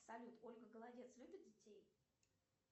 салют ольга голодец любит детей